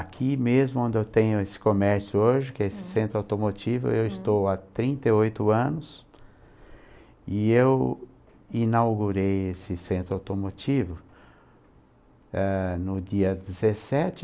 Aqui mesmo onde eu tenho esse comércio hoje, que é esse centro automotivo, eu estou há trinta e oito anos e eu inaugurei esse centro automotivo eh, no dia dezessete